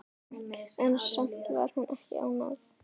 En samt var hún ekki ánægð.